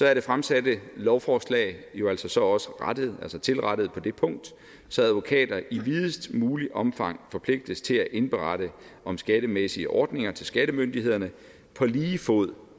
er det fremsatte lovforslag jo altså også tilrettet på det punkt så advokater i videst muligt omfang forpligtes til at indberette om skattemæssige ordninger til skattemyndighederne på lige fod